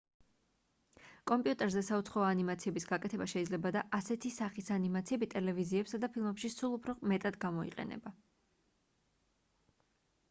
კომპიუტერზე საუცხოო ანიმაციების გაკეთება შეიძლება და ასეთი სახის ანიმაციები ტელევიზიებსა და ფილმებში სულ უფრო მეტად გამოიყენება